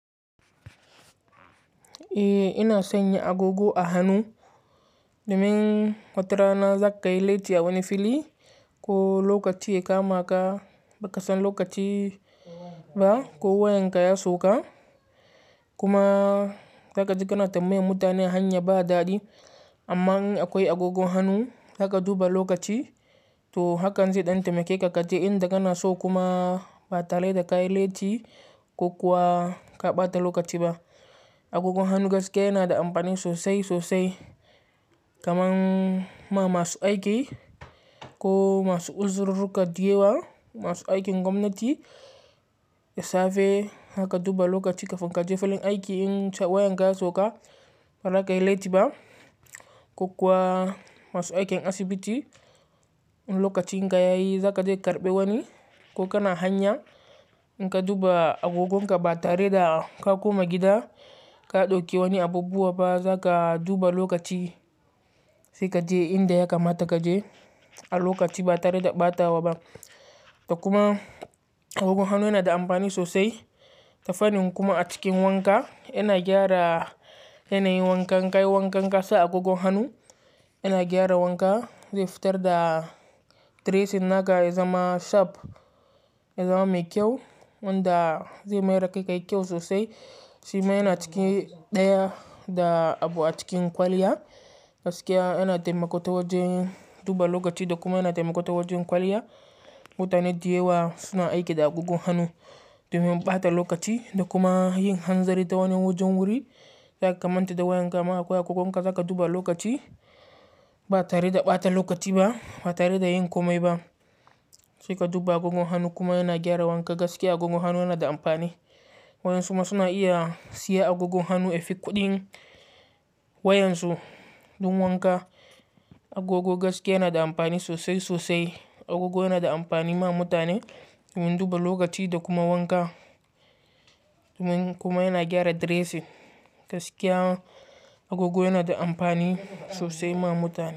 Eh, ina sanya agogo a hannu domin watarana za ka yi laiti a wani fili ko lokaci ya kama ka ba ka san lokaci ba ko wayanka ya sauka. Kuma zaka je kana ta mbayan mutane ahanya ba daɗi. Amma in akwai agogon hannu haka duba lokaci, to hakan zai ɗan taimake ka kaje inda kana so kuma ba tare da kayi laiti ko kuwa ka ɓata lokaci ba. Agogon hannu gaskiya yana da amfani sosai sosai kamar ma masu aiki ko masu uzururu kaɗi yawa, masu aiki a gwamnati, ya safe haka duba lokaci ka fanka jefen aiki in wayanka ya sauka ba za ka yi laiti ba. Ko kuwa masu aikin asibiti, in lokaci in ka yayi za ka je karɓe wani ko kana hanya in ka duba agogon ka ba tare da ka koma gida ka dauki wani abubuwa ba za ka duba lokaci sai ka je inda ya kamata ka je a lokaci ba tare da ɓatawa ba. Da kuma agogon hannu yana da amfani sosai ta fannin kuma a cikin wanka yana gyara yanayin wankan kai wankan ƙasa agogon hannu yana gyara wanka zai fitar da dressing naka ya zama sharp ya zama mai kyau wanda zai mayar da kai kayi kyau sosai. Shima yana cikin ɗaya da abu a cikin kwaliya gaskiya yana taimako ta wajen duba lokaci da kuma yana taimako ta wajen kwaliya. Mutane da yawa suna aiki da agogon hannu domin ɓata lokaci da kuma yin hanzari ta wani wajen wuri. Yana kamanta da wayanka ma akwai agogon ƙa zaka duba lokaci ba tare da ɓata lokaci ba ba tare da yin komai ba. Sai ka duba agogon hannu kuma yana gyara wanka gaskiya agogon hannu yana da amfani. Wayan su ma suna iya siya agogon hannu, ya fi kuɗin wayansu don wanka. Agogo gaskiya yana da amfani sosai sosai. Agogo yana da amfani ma mutane domin duba lokaci da kuma wanka kuma yana gyara dressing gaskiya agogo yana da amfani sosai ma mutane.